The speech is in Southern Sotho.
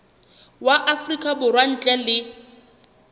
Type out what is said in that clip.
wa afrika borwa ntle le